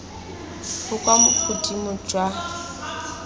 bo kwa godimo jwa ditirelo